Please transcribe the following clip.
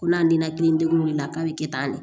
Ko n'a ninakili degu de be k'a be kɛ tan de